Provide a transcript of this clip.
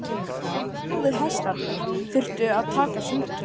Það lá við að hestarnir þyrftu að taka sundtökin.